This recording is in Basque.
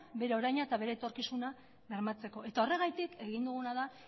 bere oraina eta bere etorkizuna bermatzeko horregatik egin duguna da